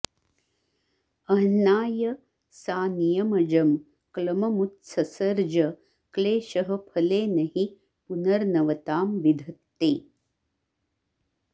अह्नाय सा नियमजं क्लममुत्ससर्ज क्लेशः फलेन हि पुनर्नवतां विधत्ते